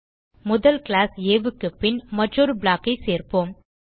முதல் கிளாஸ் ஆ க்கு பின் மற்றொரு ப்ளாக் ஐ சேர்ப்போம்